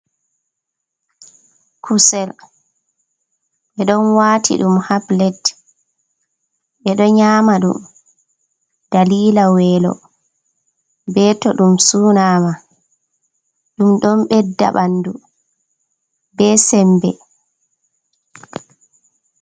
Kusel ɓe ɗon wati ɗum ha plet ɓeɗo nyama ɗum dalila welo ɓe tow ɗum sunama, ɗum ɗon ɓedda ɓandu be sembe.